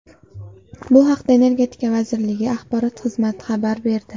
Bu haqda Energetika vazirligi axborot xizmati xabar berdi .